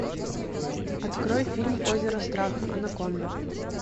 открой фильм озеро страха анаконда